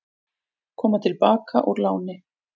Koma til baka úr láni